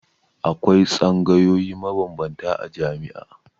Akwai tsangayoyi mabambanta a jami'a.